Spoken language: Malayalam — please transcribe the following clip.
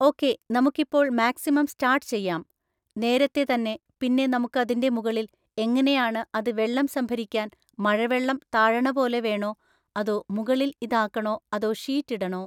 ഓക്കേ നമുക്കിപ്പോൾ മാക്സിമം സ്റ്റാർട്ട്‌ ചെയ്യാം നേരത്തെ തന്നെ പിന്നെ നമുക്ക് അതിൻ്റെ മുകളിൽ എങ്ങനെയാണ് അത് വെള്ളം സംഭരിക്കാൻ മഴവെള്ളം താഴണ പോലെ വേണോ അതോ മുകളിൽ ഇതാക്കണോ അതോ ഷീറ്റ് ഇടണോ